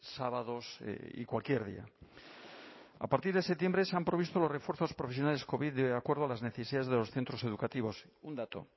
sábados y cualquier día a partir de septiembre se han provisto los refuerzos profesionales covid de acuerdo a las necesidades de los centros educativos un dato